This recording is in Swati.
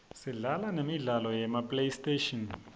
sidlala nemidlalo yema playstation